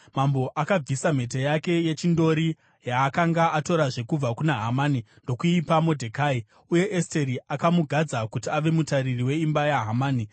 Mambo akabvisa mhete yake yechindori, yaakanga atorazve kubva kuna Hamani, ndokuipa Modhekai. Uye Esteri akamugadza kuti ave mutariri weimba yaHamani.